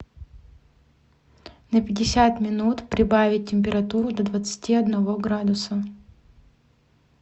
на пятьдесят минут прибавить температуру до двадцати одного градуса